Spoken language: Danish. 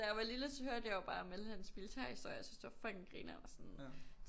Da jeg var lille der hørte jeg jo bare om alle hans militærhistorier og syntes det var fucking grinern og sådan